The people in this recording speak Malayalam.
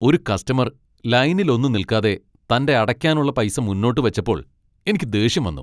ഒരു കസ്റ്റമർ ലൈനിലൊന്നും നിൽക്കാതെ തന്റെ അടയ്ക്കാനുള്ള പൈസ മുന്നോട്ട് വച്ചപ്പോൾ എനിക്ക് ദേഷ്യം വന്നു.